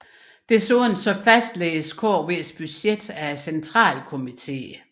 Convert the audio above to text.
Desuden fastlægges KVs budget af centralkomiteen